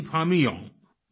Ringphami Young